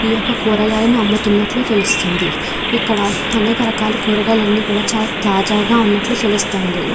ఈ యొక్క కూరగాయలను అమ్ముతున్నట్లు తెలుస్తోంది ఇక్కడ అనేక రకాల కూరగాయలన్ని కూడా చాలా తాజాగా ఉన్నట్లు తెలుస్తుంది.